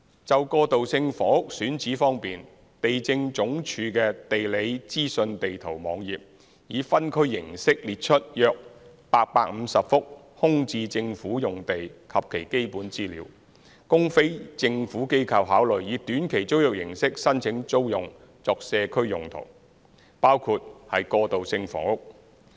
就過渡性房屋選址方面，地政總署的"地理資訊地圖"網頁以分區形式列出約850幅空置政府用地及其基本資料，供非政府機構考慮以短期租約形式申請租用作社區用途，包括過渡性房屋。